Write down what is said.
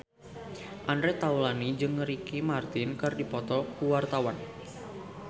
Andre Taulany jeung Ricky Martin keur dipoto ku wartawan